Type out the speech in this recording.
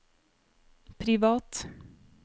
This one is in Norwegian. privat